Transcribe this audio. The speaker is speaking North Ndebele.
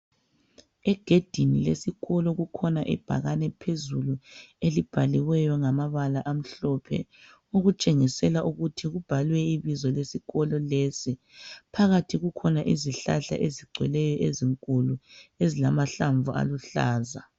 Egedini lesikolo kukhona ibhakane phezulu elibhaliweyo ngamabala amhlophe okutshengisela ukuthi kubhalwe ibizo lesikolo lesi. Phakathi kukhona izihlahla ezigcweleyo ezinkulu ezilamahlamvu aluhlaza